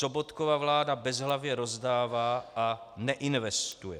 Sobotkova vláda bezhlavě rozdává a neinvestuje.